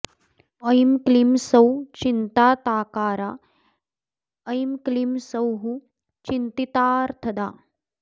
ऐं क्लीं सौः चिन्तिताकारा ऐं क्लीं सौः चिन्तितार्थदा